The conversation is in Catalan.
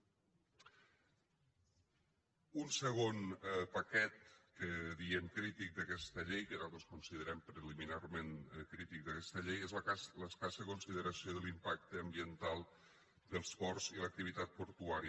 un segon paquet que diem crític d’aquesta llei que nosaltres considerem preliminarment crític d’aquesta llei és l’escassa consideració de l’impacte ambiental dels ports i l’activitat portuària